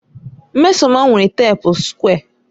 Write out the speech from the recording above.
Nneoma nwere teepu sukwé.